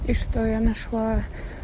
и что я нашла